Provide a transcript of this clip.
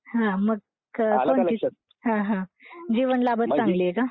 हां मग जीवनलाभच चांगली आहे का?